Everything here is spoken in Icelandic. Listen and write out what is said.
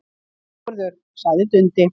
Sigurður, sagði Dundi.